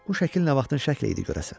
Bu şəkil nə vaxtın şəkli idi görəsən?